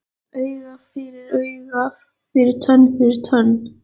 Auga fyrir auga fyrir tönn fyrir tönn